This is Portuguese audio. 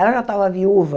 Ela já estava viúva.